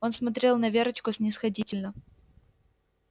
он смотрел на верочку снисходительно